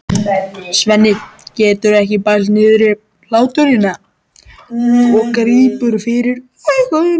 Svenni getur ekki bælt niðri hláturinn og grípur fyrir augun.